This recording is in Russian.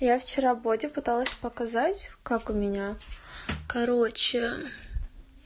я вчера боде пыталась показать как у меня короче